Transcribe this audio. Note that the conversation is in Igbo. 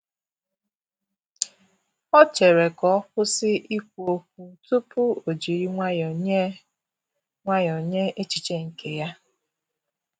O chere ka ọkwụsị ikwu okwu tupu ojiri nwayọọ nye nwayọọ nye echiche nke ya.